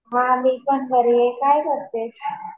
हा मी पण बरी आहे. काय करतेस?